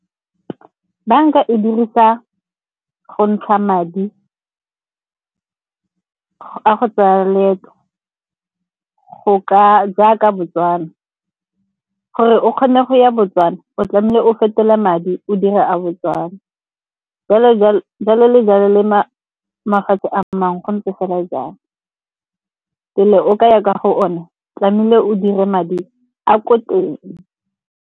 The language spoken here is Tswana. Banka e dirisa go ntsha madi a go tsaya leeto jaaka Botswana. Gore o kgone go ya Botswana o tlamehile o fetole madi o dire a Botswana jalo le jalo le mafatshe a mangwe go ntse fela jalo. Pele o kaya kwa go o ne tlamehile o dire madi a ko teng.